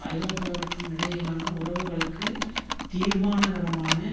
ஐரோப்பாவிற்கும் இடையிலான உறவுகளுக்கு தீர்மானகரமான